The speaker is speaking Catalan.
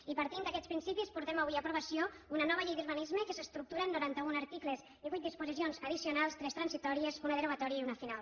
i partint d’aquests principis portem avui a aprovació una nova llei d’urbanisme que s’estructura en norantaun articles i vuit disposicions addicionals tres transitòries una derogatòria i una final